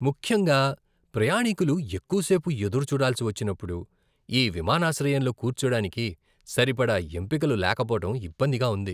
ముఖ్యంగా ప్రయాణీకులు ఎక్కువ సేపు ఎదురుచూడాల్సి వచ్చినప్పుడు, ఈ విమానాశ్రయంలో కూర్చోడానికి సరిపడా ఎంపికలు లేకపోవడం ఇబ్బందిగా ఉంది.